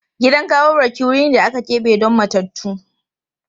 Gidan gawarwaki wuri ne da aka keɓe don matattu.